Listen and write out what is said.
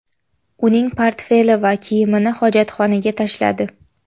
Uning portfeli va kiyimini hojatxonaga tashladi.